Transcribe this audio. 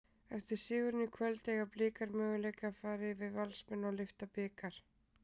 Eftir sigurinn í kvöld, eiga Blikar möguleika fara yfir Valsmenn og lyfta bikar?